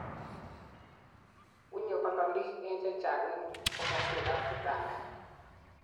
wunyegei kololik en chechang en komoswek ab kitanda